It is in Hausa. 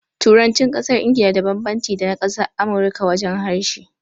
Turancin ƙasar Ingila da banbanci da na ƙasar Amurika wajen harshe